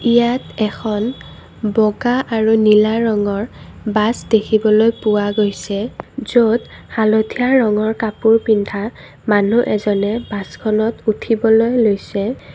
ইয়াত এখন বগা আৰু নীলা ৰঙৰ বাছ দেখিবলৈ পোৱা গৈছে য'ত হালধীয়া ৰঙৰ কাপোৰ পিন্ধা মানুহ এজনে বাছখনত উঠিবলৈ লৈছে।